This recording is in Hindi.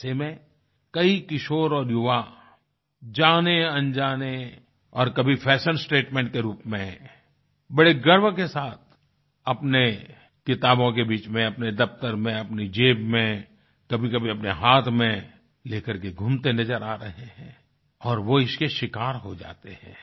ऐसे में कई किशोर और युवा जानेअनजाने और कभी फैशन स्टेटमेंट के रूप में बड़े गर्व के साथ अपने किताबों के बीच में अपने दफ्तर में अपनी जेब में कभीकभी अपने हाथ में लेकर के घूमते नजर आ रहे हैं और वो इसके शिकार हो जाते हैं